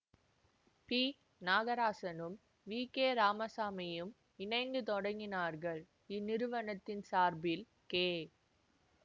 B நாகராசனும் V K ராமசாமியும் இணைந்து தொடங்கினார்கள் இந்நிறுவனத்தின் சார்பில் கே